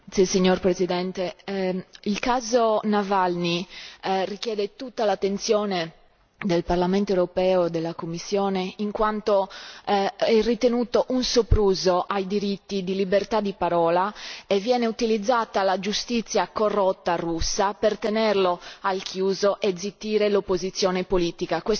Signor Presidente, onorevoli colleghi, il caso Navalny richiede tutta l'attenzione del Parlamento europeo e della Commissione, in quanto è ritenuto un sopruso ai diritti di libertà di parola e viene utilizzata la giustizia corrotta russa per tenerlo al chiuso e zittire l'opposizione politica.